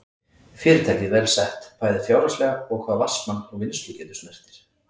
Fyrirtækið vel sett, bæði fjárhagslega og hvað vatnsmagn og vinnslugetu snertir.